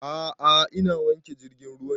A'a ina wanke jirgin ruwa ne